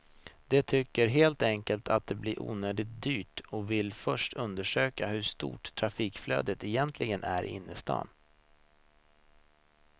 De tycker helt enkelt att det blir onödigt dyrt och vill först undersöka hur stort trafikflödet egentligen är in till stan.